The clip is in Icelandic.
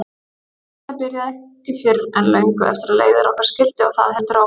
Þetta byrjaði ekki fyrr en löngu eftir að leiðir okkar skildi og það heldur áfram.